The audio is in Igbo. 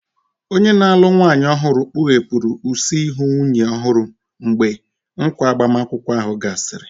Onye na-alụ nwanyị ọhụrụ kpughepụrụ use ihu nwunye ọhụrụ mgbe nkwa agbamakwụkwọ ahụ gasịrị.